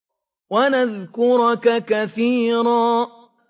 وَنَذْكُرَكَ كَثِيرًا